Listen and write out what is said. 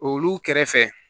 Olu kɛrɛfɛ